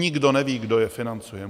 Nikdo neví, kdo je financuje.